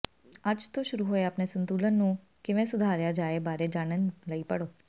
ਅੱਜ ਤੋਂ ਸ਼ੁਰੂ ਹੋਏ ਆਪਣੇ ਸੰਤੁਲਨ ਨੂੰ ਕਿਵੇਂ ਸੁਧਾਰਿਆ ਜਾਏ ਬਾਰੇ ਜਾਣਨ ਲਈ ਪੜ੍ਹੋ